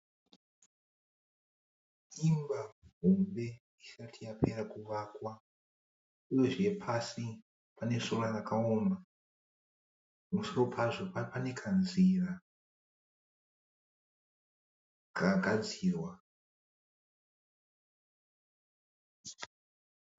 Imba hombe isati yapera kuvakwa, uyezve pasi panesora rakaoma pamusoro pazvo panekanzira kakagadzirwa.